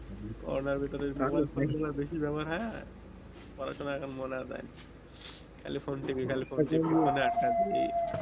corona ভিতরে mobile phone গুলো বেশি ব্যাবহার হয়ে পড়াশোনায় এখন মন আর যাই না খালি ফোন টিপি খালি ফোন টিপি মানে আড্ডা দিয়ে এই